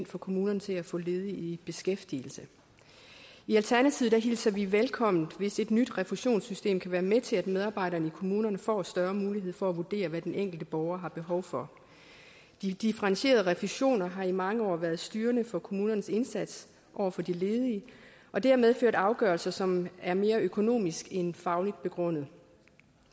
for kommunerne til at få ledige i beskæftigelse i alternativet hilser vi velkommen hvis et nyt refusionssystem kan være med til at medarbejderne i kommunerne får en større mulighed for at vurdere hvad den enkelte borger har behov for de differentierede refusioner har i mange år været styrende for kommunernes indsats over for de ledige og det har medført afgørelser som er mere økonomisk end fagligt begrundet